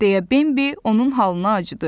Deyə Bembi onun halına acıdı.